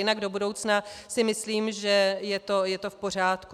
Jinak do budoucna si myslím že je to v pořádku.